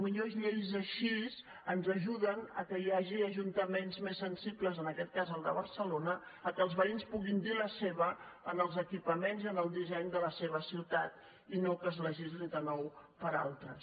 potser lleis així ens ajuden que hi hagi ajuntaments més sensibles en aquest cas el de barcelona que els veïns puguin dir la seva en els equipaments i en el disseny de la seva ciutat i no que es legisli de nou per altres